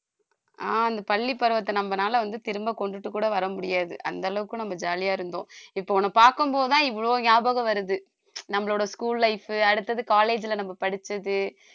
ஆஹ் இந்த பள்ளி பருவத்தை நம்பனால வந்து திரும்ப கொண்டுட்டு கூட வர முடியாது அந்த அளவுக்கு நம்ம jolly யா இருந்தோம் இப்போ உன்னை பார்க்கும் போதுதான் இவ்வளவு ஞாபகம் வருது நம்மளோட school life அடுத்தது college ல நம்ம படிச்சது